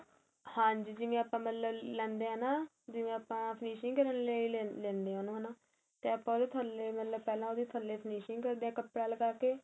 ਹਾਂਜੀ ਜਿਵੇਂ ਆਪਾ ਲੈਦੇ ਹਾਂ ਨਾ ਜਿਵੇਂ ਆਪਾ finishing ਕਰਨ ਲਈ ਲੈਦੇ ਉਹਨੂੰ ਹੈਣਾ ਤੇ ਆਪਾ ਉਹਦੇ ਥੱਲੇ ਮਤਲਬ ਪਹਿਲਾਂ ਉਹਦੇ ਥੱਲੇ finishing ਕਰਦੇ ਹਾਂ ਕੱਪੜਾ ਲੱਗਾਕੇ